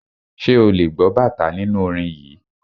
Ṣé ò lè gbọ́ bàtá nínú orin yìí.